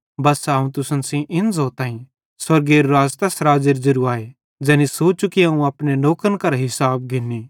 बस्सा अवं तुसन सेइं इन ज़ोताईं स्वर्गेरू राज़ तैस राज़्ज़ेरू ज़ेरू आए ज़ैनी सोचू कि अवं अपने नौकरन करां हिसाब घिंनी